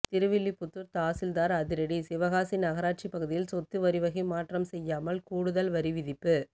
திருவில்லிபுத்தூர் தாசில்தார் அதிரடி சிவகாசி நகராட்சி பகுதியில் சொத்து வரி வகை மாற்றம் செய்யாமல் கூடுதல் வரிவிதிப்பு